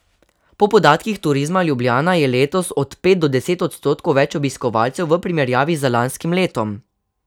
Po podatkih Turizma Ljubljana je letos od pet do deset odstotkov več obiskovalcev v primerjavi z lanskim letom.